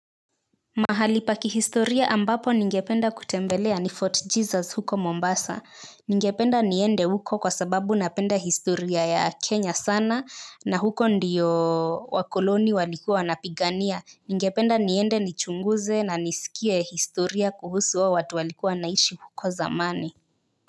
Mahali pa kihistoria ambapo ningependa kutembelea ni Fort Jesus huko Mombasa. Ningependa niende huko kwa sababu napenda historia ya Kenya sana na huko ndio wakoloni walikuwa wanapigania. Ningependa niende nichunguze na nisikie historia kuhusu hao watu walikuwa wanaishi huko zamani.